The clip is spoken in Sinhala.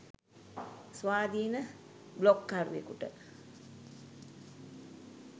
ස්වාධීන බ්ලොග්කරුවෙකුට